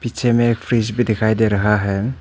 पीछे में एक फ्रिज भी दिखाई दे रहा है।